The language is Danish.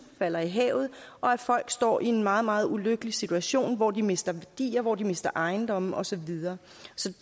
falder i havet og at folk står i en meget meget ulykkelig situation hvor de mister værdier og hvor de mister ejendomme og så videre så